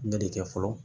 N bɛ de kɛ fɔlɔ